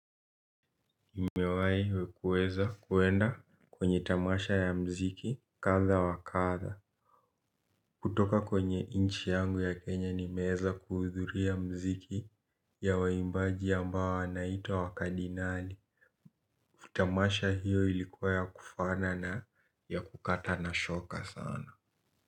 Nimewai wekuweza kuenda kwenye tamasha ya mziki katha wa katha kutoka kwenye nchi yangu ya kenya nimeweza kuhudhuria mziki ya waimbaji ambao wanaitwa wakadinali. Tamasha hiyo ilikuwa ya kufana na ya kukata na shoka sana.